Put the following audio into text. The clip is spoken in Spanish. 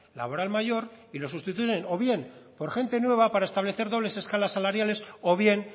laboral mayor y lo sustituyen o bien por gente nueva para establecer dobles escalas salariales o bien